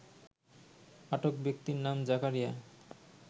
আটক ব্যক্তির নাম জাকারিয়া